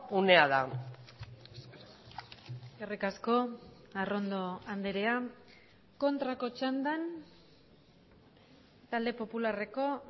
unea da eskerrik asko arrondo andrea kontrako txandan talde popularreko